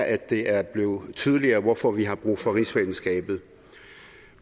at det er blevet tydeligere hvorfor vi har brug for rigsfællesskabet